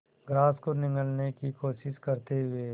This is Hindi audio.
ग्रास को निगलने की कोशिश करते हुए